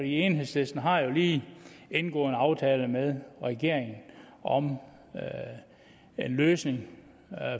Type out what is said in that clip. enhedslisten har lige indgået en aftale med regeringen om en løsning